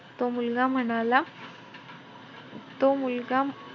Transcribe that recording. तो मुलगा म्हणाला तो मुलगा,